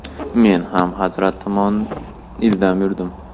Men ham hazrat tomon ildam yurdim.